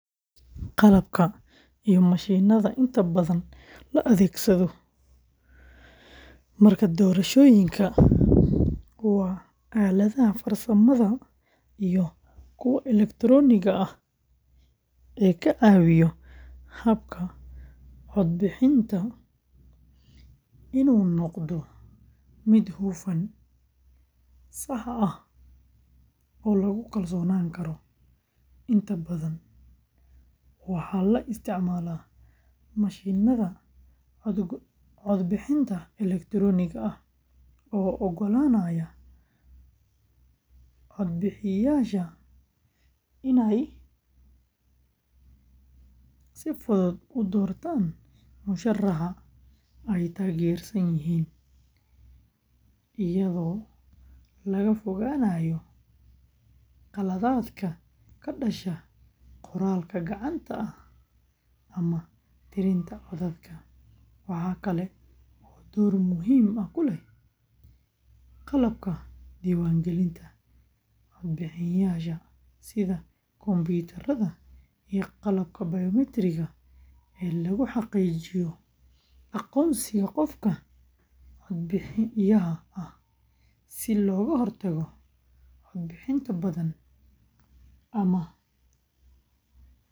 Qalabka iyo mashinada inta badan la adeegsado marka doorashoyinka kuwa aladaha farsamada iyo kuwa elektroniga ah, ee ka caawiyo habka cod bixinta inuu noqdo mid hufan, sax ah oo lagu kalsonan Karo, inta badan waxaa la isticmaala mashinada cod bixinta elektroniga ah, oo ogolanaya cod bixiyasha inaay si fudud udortaan musharaxa, aay taager san yihiin ayado laga fogaanayo qaladadka kadasha qoraalka gacanta ama galinta codadka, waxa kale oo door muhiim ah ku leh qalabka diiwan galinta cod bixiyasha sida kompitarada ee lagu xaqiijiyo aqoonsiga qofka cod bixiyaha ah si looga hor tago cod bixinta badan ama.